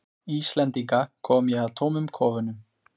Íslendinga, kom ég að tómum kofunum.